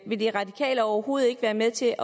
vil de radikale overhovedet ikke være med til